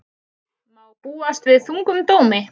Má búast við þungum dómi